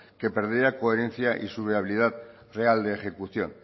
que perdería coherencia y su viabilidad real de ejecución